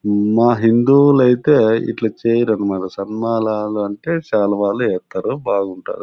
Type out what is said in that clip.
మా హిందువులైతే ఇట్ల చేయరు అన్నమాట సన్మానాలు అంటే చాల వాళ్ళు ఎత్తారు బాగుంటారు.